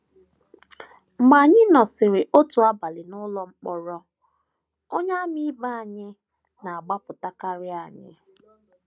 Mgbe anyị nọsịrị otu abalị n’ụlọ mkpọrọ, Onyeàmà ibe anyị na - agbapụtakarị anyị.